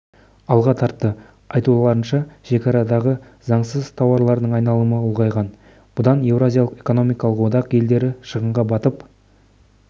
алға тартты айтуларынша шекарадағы заңсыз тауарлардың айналымы ұлғайған бұдан еуразиялық экономикалық одақ елдері шығынға батып